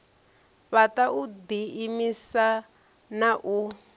fhaṱa u ḓiimisa na u